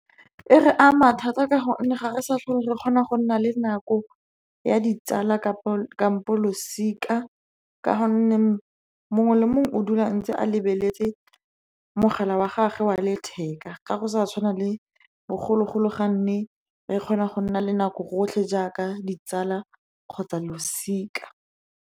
E re ama thata ka gonne ga re sa tlhole re kgona go nna le nako ya ditsala kampo losika, ka gonne mongwe le mongwe o dula a lebeletse mogala wa gagwe wa letheka. Ga go sa tshwana le bogologolo, ga ne re kgona go nna le nako rotlhe jaaka ditsala kgotsa losika.